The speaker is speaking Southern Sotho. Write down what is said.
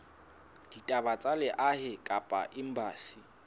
ditaba tsa lehae kapa embasing